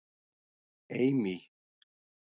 Amy